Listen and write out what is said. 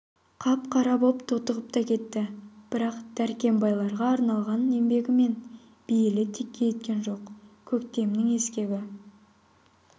қап-қара боп тотығып та кетті бірақ дәркембайларға арналған еңбегі мен бейілі текке кеткен жоқ көктемнің ескегі